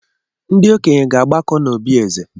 Ndị okenye ga-agbakọ n'obi eze.